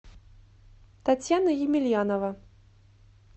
татьяна емельянова